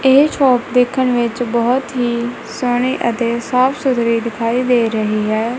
ਇਹ ਸ਼ੌਪ ਦੇਖਣ ਵਿੱਚ ਬਹੁਤ ਹੀ ਸੋਹਣੀ ਅਤੇ ਸਾਫ਼ ਸੁਥਰੀ ਦਿਖਾਈ ਦੇ ਰਹੀ ਹੈ।